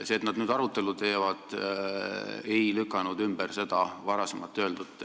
See, et nad nüüd arutelu teevad, ei lükka ümber varasemalt öeldut.